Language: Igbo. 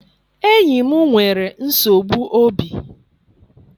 Enyi m nwere nsogbu obi.